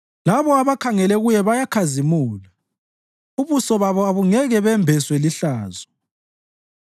Labo abakhangele Kuye bayakhazimula; ubuso babo abungeke bembeswe lihlazo.